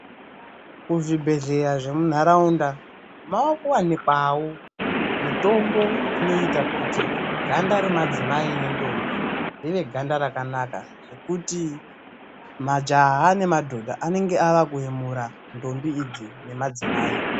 Kuzvibhehlra zvemunharaunda maakuwanikwawo mitombo inoita kuti ganda remadzimai nentombi rive ganda rakanaka, zvekuti majaha nemadhodha anenge avakuyemura ntombi idzi nemadzimai.